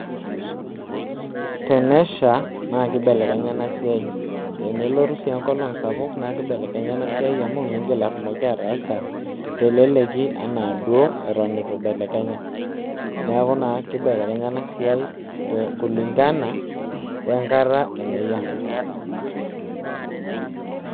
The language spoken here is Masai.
Tenesha naa kibelekenya ena siai , tenelotu sii enkolong sapuk naa kibelekenya ena siai amu keaku mindim atumoki ataasa teleleki anaa duo eton itu ibelekenya. Niaku naa kibelekenya ena siai kulingana wenkata eneyia.